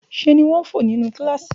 Ṣe ni wọ́n ń fò nínú kíláàsì